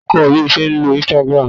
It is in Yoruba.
Ta ló kọ́ ọ bí o ṣe ń lo Instagram